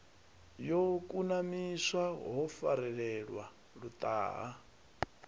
yo kunamiswa ho farelelwa luṱaha